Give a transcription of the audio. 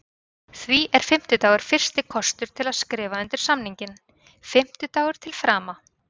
Því er fimmtudagur fyrsti kostur til að skrifa undir samninginn, fimmtudagur til frama.